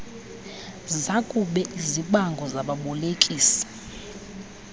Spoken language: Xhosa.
zakube izibango zababolekisi